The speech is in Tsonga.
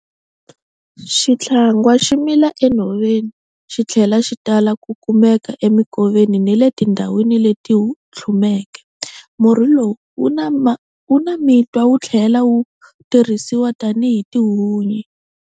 Xithlangwa xi mila enhoveni, xi tlhela xi tala ku kumeka emikoveni ni le tindhawini leti tlhumeke. Murhi lowu wu na mitwa wu tlhela wu tirhisiwa tanihi tihunyi.